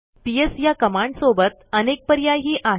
PS ह्या कमांडसोबत अनेक पर्यायही आहेत